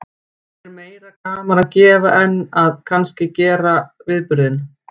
Er meira gaman að gefa en að kannski að gera viðburðinn?